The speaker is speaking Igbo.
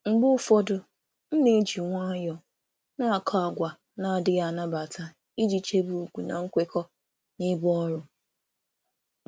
Mgbe ụfọdụ, m na-akọ àgwà na-ekwesịghị ekwesị n’ụzọ dị jụụ iji chebe chebe ugwu na nkwekọ ebe ọrụ.